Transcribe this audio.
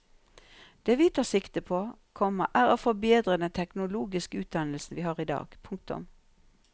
Det vi tar sikte på, komma er å forbedre den teknologiske utdannelsen vi har i dag. punktum